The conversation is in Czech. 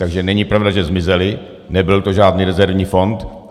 Takže není pravda, že zmizely, nebyl to žádný rezervní fond.